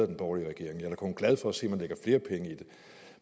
den borgerlige regering jeg kun glad for at se